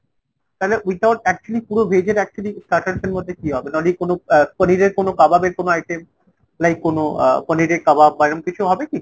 তালে without actually পুরো veg এর actually starters এর মধ্যে কি হবে ? নইলে পনিরের কোনো কাবাবের কোনো item ? like কোনো আহ পনিরের কাবাব বা এরম কিছু হবে কি ?